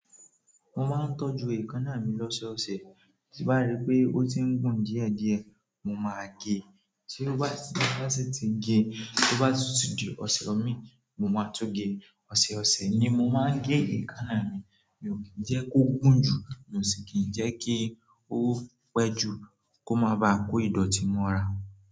Mo máa ń tọ́jú èékánná mi lọ́sẹ̀ ọ̀sẹ̀, tí n bá rí pé ó ti ń gùn díẹ̀ díẹ̀, mo máa gé e tí n bá si ti gé, tí ó bá tun ti di ọ̀sẹ̀ mi, mo máa tun gé, ọ̀sẹ̀ ọ̀sẹ̀ ni mo máa ń gé èékánná mi. Mi ò kí n jẹ́ kó gùn jù, mi ò sì kí jẹ́ kí ó pẹ́ jù. Kó má ba à kó ìdọ̀tí mọ́ra.